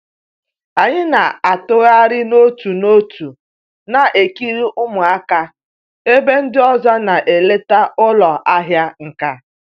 Anyị na-atụgharị n'otu n'otu na-ekiri ụmụaka ebe ndị ọzọ na-eleta ụlọ ahịa nka